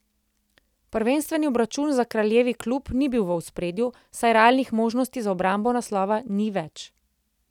Prvenstveni obračun za kraljevi klub ni bil v ospredju, saj realnih možnosti za obrambo naslova ni več.